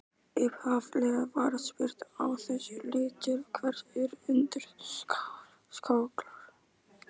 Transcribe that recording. Upphaflega var spurt á þessa leið: Til hvers eru undirskálar?